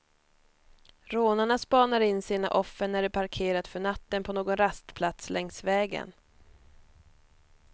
Rånarna spanar in sina offer när de parkerat för natten på någon rastplats längs vägen.